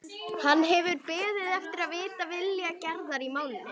Hann hefur beðið eftir að vita vilja Gerðar í málinu.